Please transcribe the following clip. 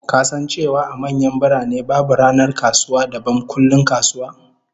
Ka san cewa a manyan birane, babu ranar kasuwa dabam kullum kasuwa?